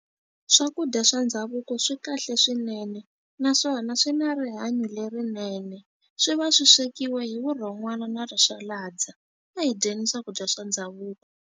Swakudya swa ndhavuko swi kahle swinene, naswona swi na rihanyo lerinene. Swi va swi swekiwa hi vurhon'wana na rixalandza. A hi dyeni swakudya swa ndhavuko.